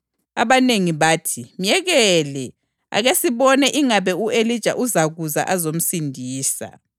Abanengi bathi, “Myekele. Ake sibone ingabe u-Elija uzakuza azomsindisa.”